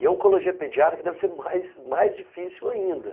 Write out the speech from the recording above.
E a oncologia pediátrica deve ser mais, mais difícil ainda.